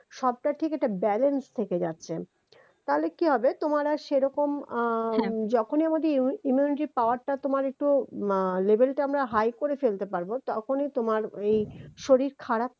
সবটা থেকে তার balance থেকে যাচ্ছে তাহলে কি হবে তোমার আর সেরকম আহ যখনই আমাদের immunity power টা তোমার একটু আহ level টা আমরা high করে ফেলতে পারবো তখনই তোমার এই শরীর খারাপ